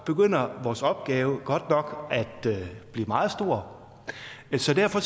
begynder vores opgave godt nok at blive meget stor så derfor